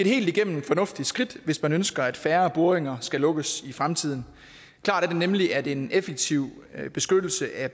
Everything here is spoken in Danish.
helt igennem fornuftigt skridt hvis man ønsker at færre boringer skal lukkes i fremtiden klart er det nemlig at en effektiv beskyttelse af